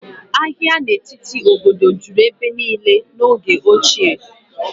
Agha n'etiti obodo juru ebe niile n'oge ochie